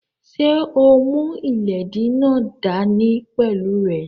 Ṣé o mú ìléèdí náà dá ní pẹ̀lú rẹ?